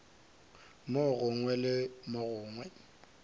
mo gongwe le mo gongwe